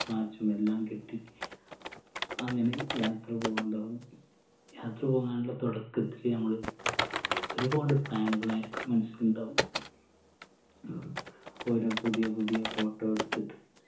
watch ഉം എല്ലാം കെട്ടി അങ്ങനെ യാത്ര പോവാൻ തുടങ്ങും യാത്ര പോവാനുള്ള തൊടക്കത്തില് നമ്മള് ഒരുപാട് plan കളായിരിക്കും മനസ്സിലുണ്ടാവും ഓരോ പുതിയ പുതിയ photo എടുത്തിട്ട്